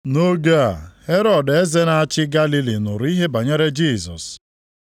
Nʼoge a Herọd eze na-achị Galili nụrụ ihe banyere Jisọs.